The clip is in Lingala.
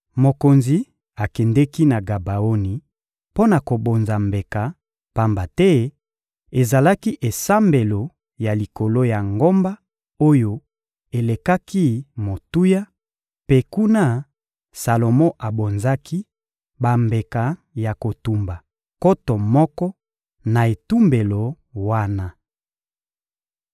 Mokonzi akendeki na Gabaoni mpo na kobonza mbeka, pamba te ezalaki esambelo ya likolo ya ngomba oyo elekaki motuya, mpe kuna, Salomo abonzaki bambeka ya kotumba nkoto moko, na etumbelo wana.